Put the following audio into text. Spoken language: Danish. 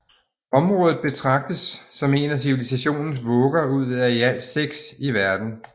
Området betragtes som en af civilisationens vugger ud af i alt seks i verden